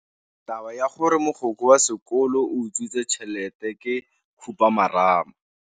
Taba ya gore mogokgo wa sekolo o utswitse tšhelete ke khupamarama.